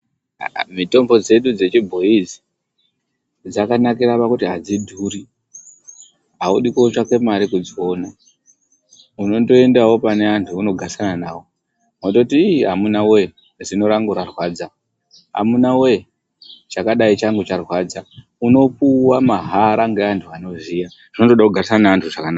Mitombo dzedu dzechibhoyi idzi dzakanakira pakuti hadzidhuri, haudi kotsvaka mari kudziona. Unondoendawo pane vantu vaunogarisana navo vondoti iii amuna woye zino rangu rarwadza, amuna woye chakadai changu charwadza, unopuwa mahara ngeantu anoziya zvinongoda kugarisana nevantu zvakanaka.